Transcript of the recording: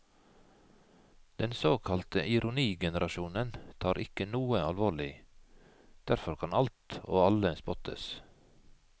Den såkalte ironigenerasjonen tar ikke noe alvorlig, derfor kan alt og alle spottes.